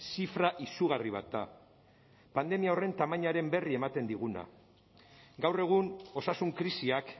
zifra izugarri bat da pandemia horren tamainaren berri ematen diguna gaur egun osasun krisiak